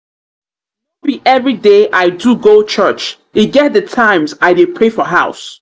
no be everyday i do go church e get di times i dey pray for house.